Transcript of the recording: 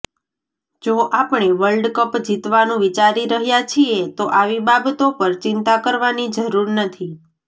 જો આપણે વર્લ્ડકપ જીતવાનું વિચારી રહ્યા છીએ તો આવી બાબતો પર ચિંતા કરવાની જરૂર નથી